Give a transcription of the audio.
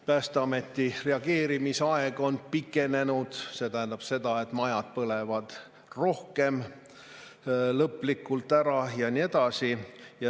Päästeameti reageerimisaeg on pikenenud, see tähendab seda, et majad põlevad rohkem lõplikult ära ja nii edasi.